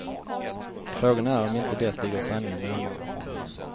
Frågan är om inte det ligger sanningen närmare.